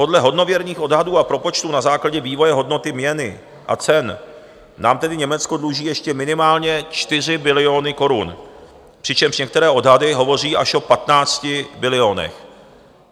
Podle hodnověrných odhadů a propočtů na základě vývoje hodnoty měny a cen nám tedy Německo dluží ještě minimálně 4 biliony korun, přičemž některé odhady hovoří až o 15 bilionech.